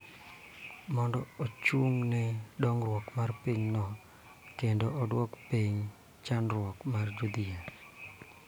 Mondo ochung� ne dongruok mar pinyno kendo duoko piny chandruok mar jodhier.